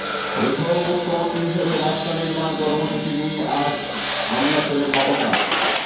প্রথম মুখ্যমন্ত্রী হিসাবে রাস্তা নির্মাণ কর্মসূচি নিয়ে আজ আমলাশোলে মমতা